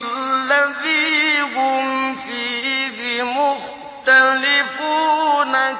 الَّذِي هُمْ فِيهِ مُخْتَلِفُونَ